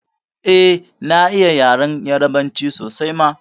Eh na iya yaren yarbanci sosai ma